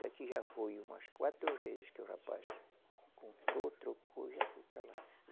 Daqui já foi umas quatro vezes que o rapaz comprou, trocou e já foi para lá.